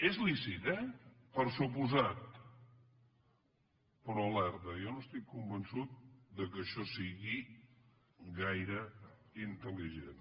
és lícit eh per descomptat però alerta jo no estic convençut que això sigui gaire intel·ligent